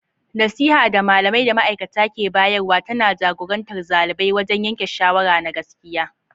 Nasiha, da malamai da ma'aikata ke bayarwa, tana jagorantar xalibai wajen yanke shawara na gaskiya.